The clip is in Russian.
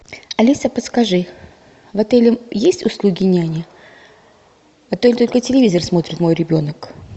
алиса подскажи в отеле есть услуги няни а то только телевизор смотрит мой ребенок